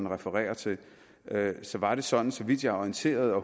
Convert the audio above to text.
refererer til så var det sådan så vidt jeg er orienteret og